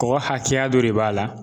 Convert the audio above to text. Kɔgɔ hakɛya dɔ de b'a la